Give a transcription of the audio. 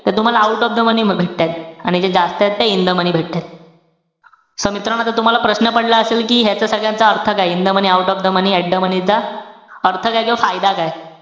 त तुम्हाला out of the money भेटतायेत. आणि जे जास्तय ते in the money भेटताय. so मित्रांनो, आता तुम्हाला प्रश्न पडला असेल कि ह्याच सगळ्याचा अर्थ काय? in the money, out of the money, at the money चा अर्थ काय किंवा फायदा काय?